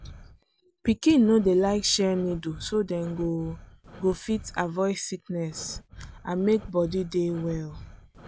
pikin no dey like share needle so dem go go fit avoid sickness and make body dey well.